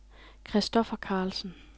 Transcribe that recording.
Kristoffer Carlsen